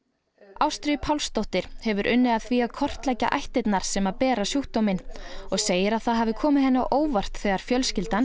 Ástríður Pálsdóttir hefur unnið að því að kortleggja ættirnar sem að bera sjúkdóminn og segir að það hafi komið henni á óvart þegar fjölskyldan